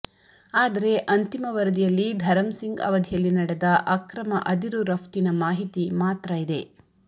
ಆದರೆ ಅಂತಿಮ ವರದಿಯಲ್ಲಿ ಧರಂಸಿಂಗ್ ಅವಧಿಯಲ್ಲಿ ನಡೆದ ಅಕ್ರಮ ಅದಿರು ರಫ್ತಿ ಮಾಹಿತಿ ಮಾತ್ರ ಇದೆ